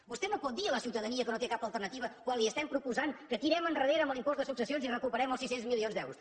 vostè no pot dir a la ciutadania que no té cap alternativa quan li estem proposant que tirem endarrere en l’impost de successions i recuperem els sis cents milions d’euros